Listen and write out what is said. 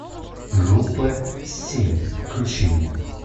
группа семь включи мне